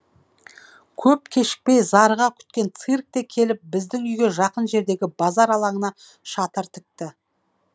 көп кешікпей зарыға күткен цирк те келіп біздің үйге жақын жердегі базар алаңына шатыр тікті